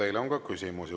Teile on ka küsimusi.